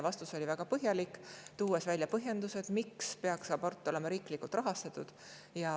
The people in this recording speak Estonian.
Vastus oli väga põhjalik, toodi välja põhjendused, miks abort peaks olema riiklikult rahastatud.